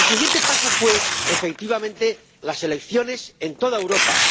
El siguiente paso fue, efectivamente, las elecciones en toda Europa.